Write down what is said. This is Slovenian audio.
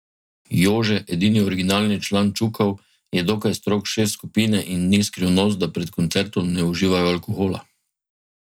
Jože, edini originalni član Čukov, je dokaj strog šef skupine in ni skrivnost, da pred koncertom ne uživajo alkohola.